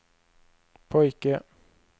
pojke